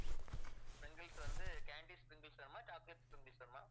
sprinkles வந்து candy sprinkles வேணுமா chocolate sprinkles வேணுமா